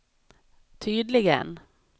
tydligen